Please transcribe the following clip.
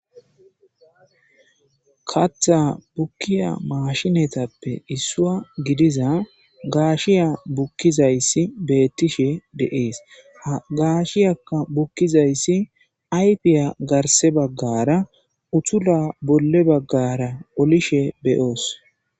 katha bukkiya maashinatappe issua gidiza gaashiya bukkizayssi beettishe deees gaashiyakka bukkizayssi aypiya garse baggara uthula bolle baggara olishe beyoos